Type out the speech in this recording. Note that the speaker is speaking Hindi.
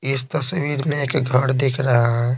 इस तस्वीर में एक घर दिख रहा है।